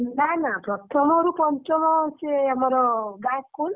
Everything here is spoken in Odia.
ନା ନ ପ୍ରଥମ ଋ ପଞ୍ଚମ ସିଏ ଆମର ଗାଁ school ।